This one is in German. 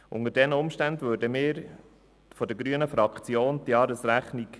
Die grüne Fraktion genehmigt einstimmig die Jahresrechnung.